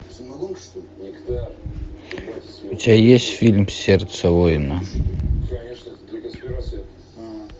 у тебя есть фильм сердце воина